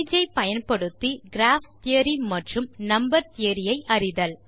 Sage ஐ பயன்படுத்தி graph theory மற்றும் நம்பர் தியோரி ஐ அறிதல்